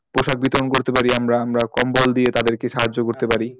পোষাক বিতরণ করতে পারি আমরা আমরা কম্বল দিয়ে তাদেরকে সাহায্য করতে পারি